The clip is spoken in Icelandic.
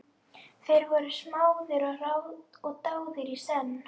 Þeir voru smáðir og dáðir í senn.